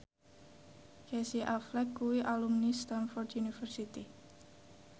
Casey Affleck kuwi alumni Stamford University